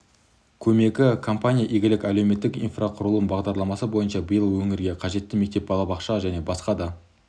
көмегі компания игілік әлеуметтік инфрақұрылым бағдарламасы бойынша биыл өңірге қажетті мектеп балабақша және басқа да